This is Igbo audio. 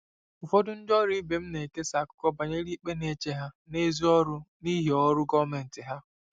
Ụfọdụ ndị ọrụ ibe m na-ekesa akụkọ banyere ikpe na-eche ha n'èzí ọrụ n'ihi ọrụ gọọmentị ha.